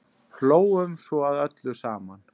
Hlógum svo að öllu saman.